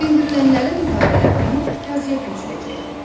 Dindirilənlərin ifadələrini yazıya köçürəcəkdi.